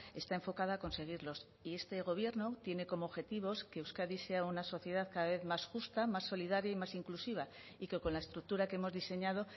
está enfocada a conseguirlos y este gobierno tiene como objetivos que euskadi sea una sociedad cada vez más justa más solidaria y más inclusiva y que con la estructura que hemos diseñado